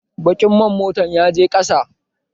Baƙin man motan yaje ƙasa